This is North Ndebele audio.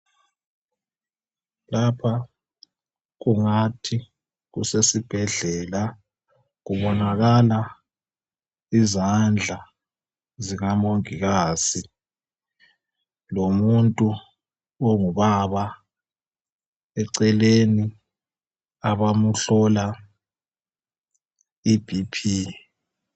Lapha kungathi kusesibhedlela. Kubonakala izandla zikamongikazi lomuntu ongubaba eceleni abamuhlola ibhiphi.